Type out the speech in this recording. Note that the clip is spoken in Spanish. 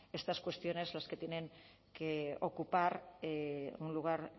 estas cuestiones las que tienen que ocupar un lugar